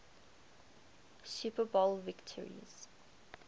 super bowl victories